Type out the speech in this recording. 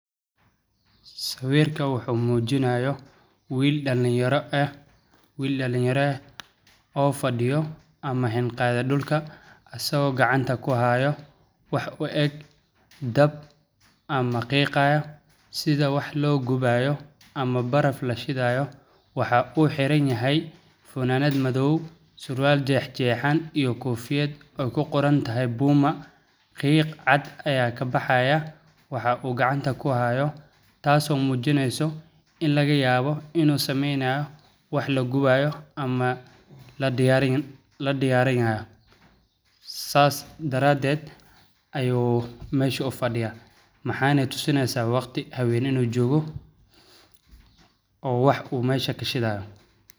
Sawirka wuxu muujinayo wiil dhalinyaro, eh, wiil dhalinyare oo fadhiyo ama hin qaad dholka a soo gacanta ku haayo. Wax u eg dab ama qiiqaaya sida wax loo gubaayo ama baraf la shidaayo. Waxa uu xiran yahay funanad madow, suraal jeex jeexan iyo kuu fiid oo ku qoran tahay puma. Qiiq cad ayaa ka baxaaya. Waxa u gacanta ku haayo taas oo muujinayso in laga yaabo inuu sameynayo wax la gubaayo ama la dhiyaarin la dhiyaarinayo saas daraadeed ayuu meesha u fadhiyaa. Maxaanayu tusinaysaa waqti habeen-in uu joogo oo wax uu meesha ka shidaayo.